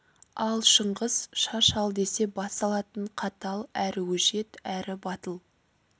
ал шыңғыс шаш ал десе бас алатын қатал әрі өжет әрі батыл